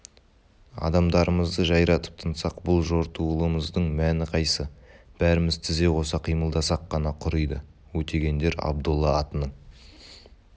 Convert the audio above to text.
адамдарымызды жайратып тынсақ бұл жортуылымыздың мәні қайсы бәріміз тізе қоса қимылдасақ қана құриды өтегендер абдолла атының